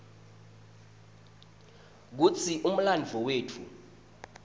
kutsi umlandvo wetfu